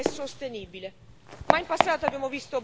digitale, inclusiva e sostenibile.